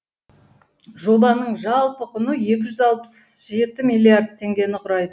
жобаның жалпы құны екі үз алпыс жеті миллиард теңгені құрайды